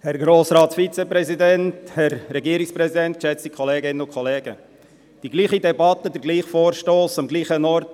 Vor vier Jahren: Dieselbe Debatte, derselbe Vorstoss, am selben Ort.